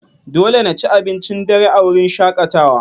Dole na ci abincin dare a wurin shakatawa.